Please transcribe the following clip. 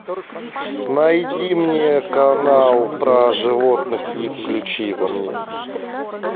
найди мне канал про животных и включи его мне